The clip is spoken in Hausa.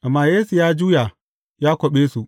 Amma Yesu ya juya, ya kwaɓe su.